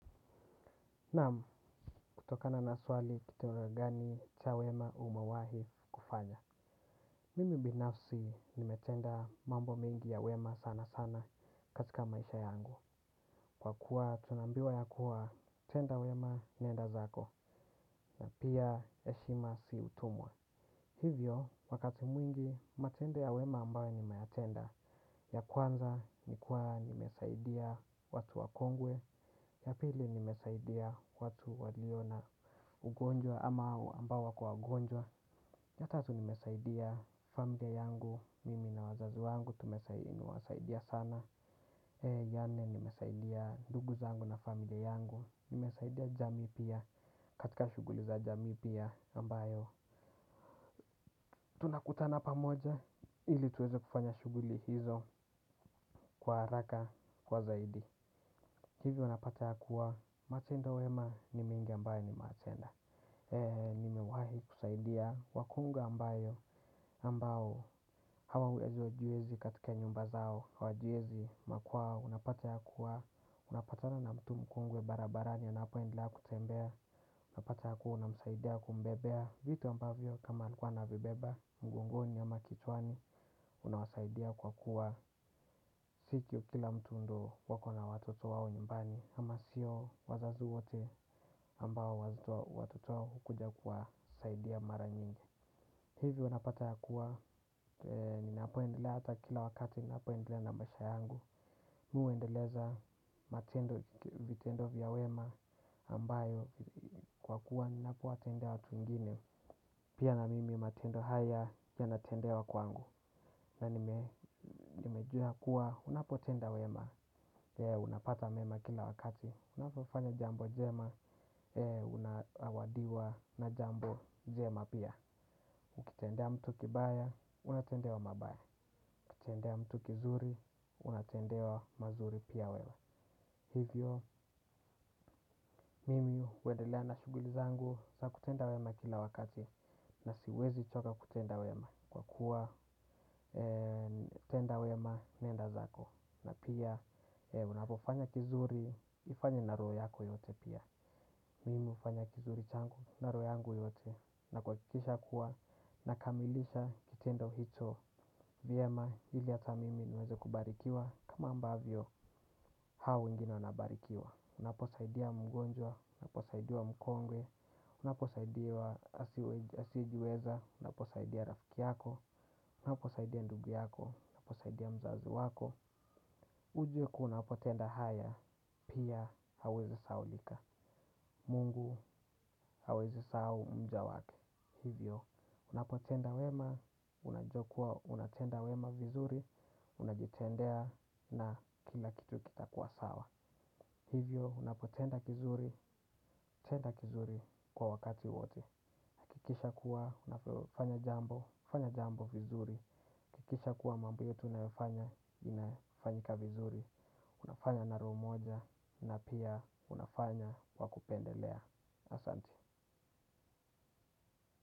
Naam, kutokana na swali kitendo gani cha wema umewahi kufanya. Mimi binafsi nimetenda mambo mengi ya wema sana sana katika maisha yangu. Kwa kuwa tunaambiwa ya kuwa tenda wema nenda zako na pia heshima si utumwa. Hivyo, wakati mwingi, matendo ya wema ambayo nimayatenda ya kwanza, ni kuwa, nimesaidia watu wakongwe ya pili, nimesaidia watu walio na ugonjwa ama ambao wako wagonjwa ya tatu, nimesaidia familia yangu, mimi na wazazi yangu, nimewasaidia sana ya nne, nimesaidia ndugu zangu na familia yangu. Nimesaidia jamii pia, katika shughuli za jamii pia ambayo tunakutana pamoja ili tuweze kufanya shughuli hizo kwa haraka kwa zaidi. Hivi unapata ya kuwa matendo ya wema ni mengi ambayo nimeyatenda. Nimewahi kusaidia wakongwe ambao hawana uwezo, hawajiwezi katika nyumba zao hawajiwezi makwao unapata ya kuwa unapatana na mtu mkongwe barabarani unapo endelea kutembea. Unapata ya kuwa unamsaidia kumbebea vitu ambavyo kama alikuwa anavibeba mgongoni ama kichwani unawasaidia kwa kuwa si kila mtu ndo wako na watoto wao nyumbani. Ama sio wazazi wote ambao watoto wao hukuja kuwasaidia mara nyingi. Hivi wanapata ya kuwa ninapoendelea hata kila wakati ninapoendelea na maisha yangu. Mi huendeleza matendo vitendo vya wema ambayo kwa kuwa ni napo watendea watu wengine. Pia na mimi matendo haya yanatendewa kwangu. Na nimejua kuwa, unapotenda wema, unapata mema kila wakati. Unapofanya jambo jema, unazawadiwa na jambo jema pia ukitendea mtu kibaya, unatendewa mabaya ukitendea mtu kizuri, unatendewa mazuri pia wewe. Hivyo, mimi huendelea na shughuli zangu za kutenda wema kila wakati. Na siwezi choka kutenda wema kwa kuwa tenda wema nenda zako. Na pia, unapofanya kizuri, ufanye na roho yako yote pia. Mimi hufanya kizuri changu, na roho yangu yote. Na kuhakikisha kuwa, nakamilisha kitendo hicho. Vyema, ili hata mimi niweze kubarikiwa kama ambavyo, hao wengine wanabarikiwa. Unaposaidia mgonjwa, unaposaidia mkongwe unaposaidia asiye jiweza, unaposaidia rafiki yako unaposaidia ndugu yako, unaposaidia mzazi wako. Ujuwe kuwa unapotenda haya, pia huwezi sahaulika. Mungu hawezi sahau mja wake. Hivyo, unapotenda wema, unajua kuwa, unatenda wema vizuri, unajitendea na kila kitu kitakuwa sawa. Hivyo, unapotenda kizuri, tenda kizuri kwa wakati wote. Hakikisha kuwa, unapofanya jambo, fanya jambo vizuri. Hakikisha kuwa mambo yote unayofanya, inafanyika vizuri. Unafanya na roho moja na pia unafanya kwa kupendelea. Asante.